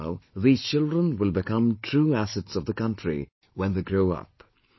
That is how these children will become true assets of the country when they grow up